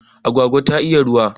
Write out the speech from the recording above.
Agwagwa ta iya ruwa